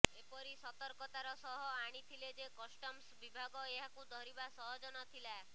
ଏପରି ସତର୍କତାର ସହ ଆଣିଥିଲେ ଯେ କଷ୍ଟମ୍ସ ବିଭାଗ ଏହାକୁ ଧରିବା ସହଜ ନଥିଲା